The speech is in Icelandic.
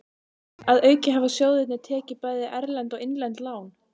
Að auki hafa sjóðirnir tekið bæði erlend og innlend lán.